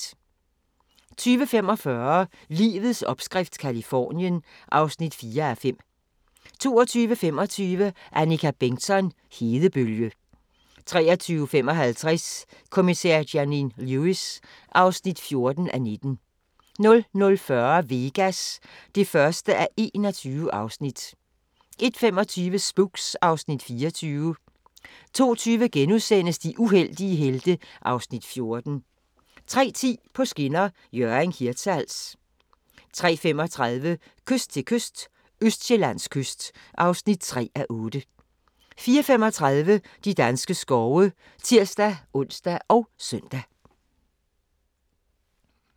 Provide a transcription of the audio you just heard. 20:45: Livets opskrift – Californien (4:5) 22:25: Annika Bengtzon: Hedebølge 23:55: Kommissær Janine Lewis (14:19) 00:40: Vegas (1:21) 01:25: Spooks (Afs. 24) 02:20: De uheldige helte (Afs. 14)* 03:10: På skinner: Hjørring – Hirtshals 03:35: Kyst til kyst – Østjyllands kyst (3:8) 04:35: De danske skove (tir-ons og søn)